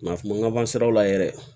Nka kuma laban siraw la yɛrɛ